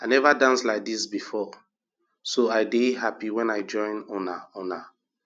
i never dance like dis before so i dey happy wen i join una una